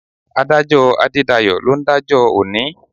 Adájọ́ Adédayọ̀ ló ń dájọ́ òní.